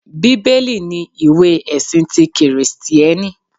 Bíbélì ni ìwé ẹ̀sin ti Kìrìsìtíẹ́nì